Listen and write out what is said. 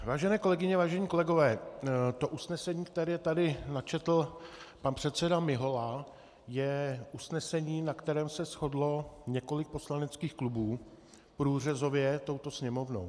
Vážené kolegyně, vážení kolegové, to usnesení, které tady načetl pan předseda Mihola, je usnesení, na kterém se shodlo několik poslaneckých klubů průřezově touto Sněmovnou.